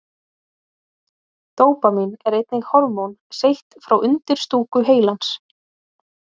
Dópamín er einnig hormón seytt frá undirstúku heilans.